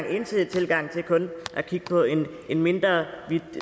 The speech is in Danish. ensidige tilgang til kun at kigge på en mindre